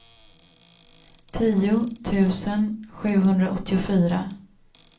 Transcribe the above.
tio tusen sjuhundraåttiofyra